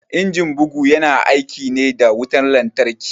Injin bugu ya na aiki ne da wutan lantarki